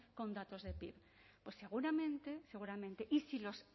con datos de pib pues seguramente seguramente y si los